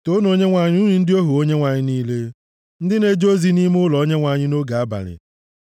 Toonu Onyenwe anyị, unu ndị ohu Onyenwe anyị niile ndị na-eje ozi nʼime ụlọ Onyenwe anyị nʼoge abalị.